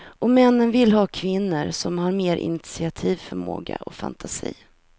Och männen vill ha kvinnor som har mer initiativförmåga och fantasi.